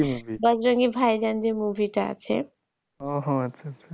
ওহো আচ্ছা আচ্ছা